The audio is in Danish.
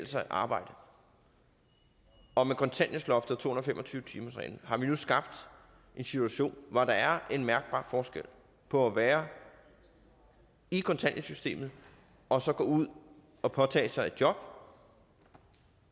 sig at arbejde og med kontanthjælpsloftet og to hundrede og fem og tyve timersreglen har vi nu skabt en situation hvor der er en mærkbar forskel på at være i kontanthjælpssystemet og så at gå ud og påtage sig et job